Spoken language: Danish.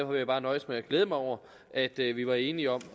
vil jeg bare nøjes med at glæde mig over at vi var enige om